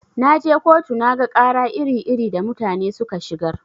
Naje kotu naga ƙara iri-iri da mutane suka shigar.